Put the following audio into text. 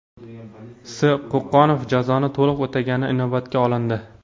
S. Qo‘qonov jazoni to‘liq o‘tagani inobatga olindi.